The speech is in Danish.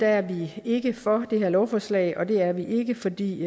er vi ikke for det her lovforslag og det er vi ikke fordi